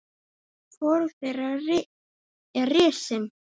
Hvorug þeirra er risin.